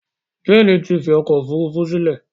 Jane tí fí ọkọ òfurufú sílè